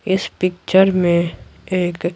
इस पिक्चर में एक--